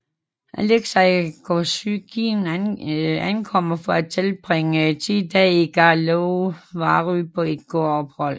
Alexei Kosygin ankommer for at tilbringe 10 dage i Karlovy Vary på et kurophold